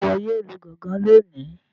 Ṣe iwọ yóò Lu gangan lóni?